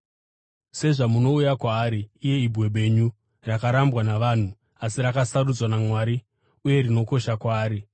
Sezvamunouya kwaari, iye Ibwe Benyu, rakarambwa navanhu asi rakasarudzwa naMwari uye rinokosha kwaari,